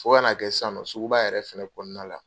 Fɔ ka na a kɛ sisannɔ suguba yɛrɛ fana kɔnɔna la